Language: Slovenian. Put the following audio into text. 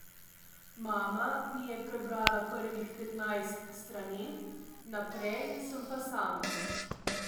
Mama mi je prebrala prvih petnajst strani, naprej sem pa sam.